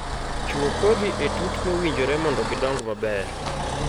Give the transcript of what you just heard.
Chuo kodhi e tut mowinjore mondo gidong maber